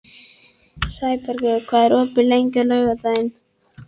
Sæbergur, hvað er opið lengi á laugardaginn?